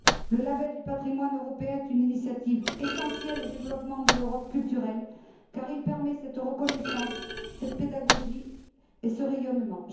Le label du patrimoine européen est une initiative essentielle au développement de l'Europe culturelle car il permet cette reconnaissance, cette pédagogie et ce rayonnement.